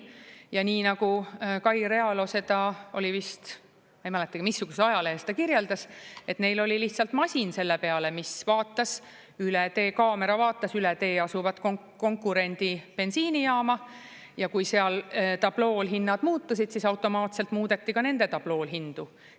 Ja nii nagu Kai Realo seda vist, ma ei mäletagi, missuguses ajalehes ta kirjeldas, et neil oli lihtsalt masin selle peale, mis vaatas üle tee, kaamera vaatas üle tee asuvat konkurendi bensiinijaama ja kui seal tablool hinnad muutusid, siis automaatselt muudeti ka nende tablool hindu.